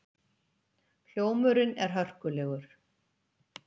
Hljómurinn er hörkulegur.